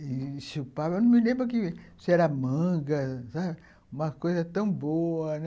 E chupava. Eu não me lembro se era manga, uma coisa tão boa.